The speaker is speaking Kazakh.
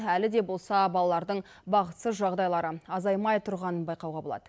әлі де болса балалардың бақытсыз жағдайлары азаймай тұрғанын байқауға болады